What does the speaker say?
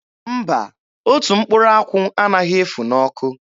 Mba, otu mkpụrụ akwụ anaghị efu n'ọkụ.